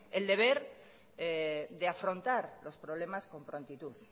el deber de afrontar los problemas con prontitud